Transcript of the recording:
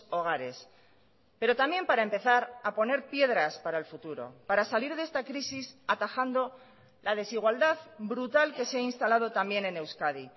hogares pero también para empezar a poner piedras para el futuro para salir de esta crisis atajando la desigualdad brutal que se ha instalado también en euskadi